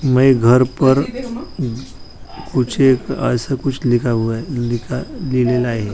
घर पर ऐसा कूच लिखा हूआ हैं लिहिलेलं आहे.